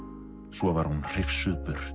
svo var hún hrifsuð burt